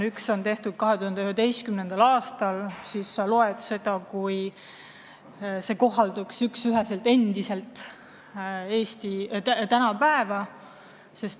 Üks raport on tehtud 2011. aastal, aga me loeme seda, nagu see käiks üksüheselt Eesti tänapäeva kohta.